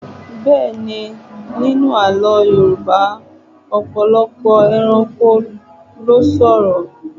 Bẹ́ẹ̀ni, nínú Àlọ́ Yorùbá, ọ̀pọ̀lọpọ̀ ẹranko ló sọ̀rọ̀.